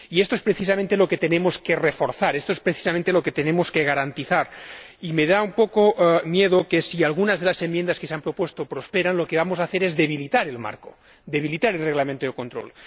Y esto es precisamente lo que tenemos que reforzar, esto es precisamente lo que tenemos que garantizar. Y temo que, si algunas de las enmiendas que se han presentado prosperan, lo que vamos a hacer es debilitar el marco, debilitar el Reglamento de control.